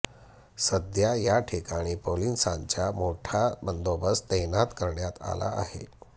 सध्या याठिकाणी पोलिसांचा मोठा बंदोबस्त तैनात करण्यात आला आहे